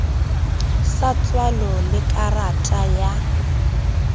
sa tswalo le karata ya